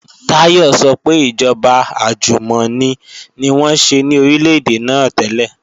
Táyọ̀ sọ pé ìjọba àjùmọ̀ni ni wọ́n ṣe ní Orílè-èdè náà tẹ́lẹ̀